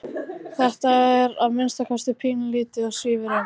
Þetta er að minnsta kosti pínulítið og svífur um.